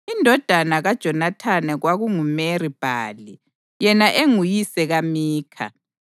Indodana kaJonathani kwakunguMeri-Bhali, yena enguyise kaMikha.